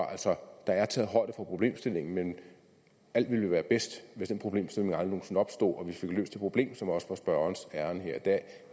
der er altså taget højde for problemstillingen men alt ville jo være bedst hvis den problemstilling aldrig nogen opstod og vi fik løst det problem som også var spørgerens ærinde her i dag